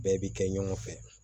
Bɛɛ bi kɛ ɲɔgɔn fɛ